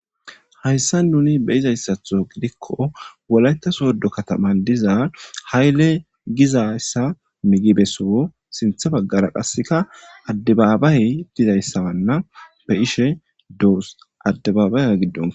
Hayssa nuni be izayssatho gidikko wolayta soddo kataman diza hayle gizayssa migibesoo sintha baggara qasseka addebaabay dizayssawanna be ishe doos addebaabaya giddon